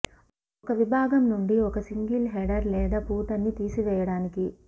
ఒక విభాగం నుండి ఒక సింగిల్ హెడర్ లేదా ఫూటర్ని తీసివేయడానికి